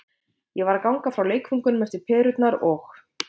Ég var að ganga frá leikföngunum eftir perurnar og.